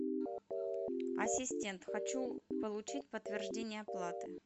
ассистент хочу получить подтверждение оплаты